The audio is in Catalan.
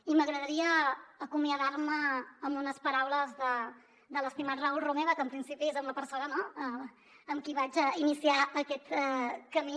i m’agradaria acomiadar me amb unes paraules de l’estimat raül romeva que en principi és amb la persona amb qui vaig iniciar aquest camí